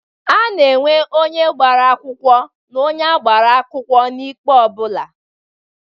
A na-enwe onye gbara akwụkwọ na onye a gbara akwụkọ n'ikpe ọ bụla.